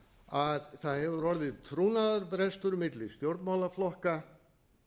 að það hefur orðið trúnaðarbrestur milli stjórnmálaflokka